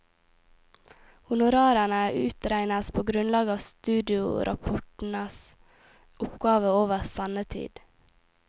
Honorarene utregnes på grunnlag av studiorapportens oppgave over sendetid.